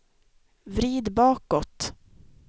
vrid bakåt